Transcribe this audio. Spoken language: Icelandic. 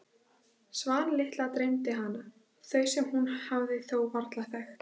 Svan litla dreymdi hana, þau sem hún hefði þó varla þekkt.